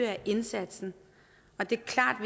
af indsatsen det er klart